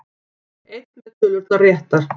Einn með tölurnar réttar